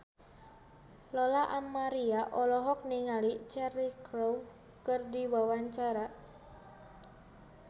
Lola Amaria olohok ningali Cheryl Crow keur diwawancara